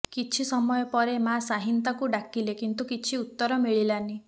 କିଛି ସମୟ ପରେ ମା ଶାହିନ ତାକୁ ଡାକିଲେ କିନ୍ତୁ କିଛି ଉତ୍ତର ମିଳିଲାନି